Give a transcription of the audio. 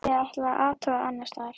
Ég ætla að athuga annars staðar.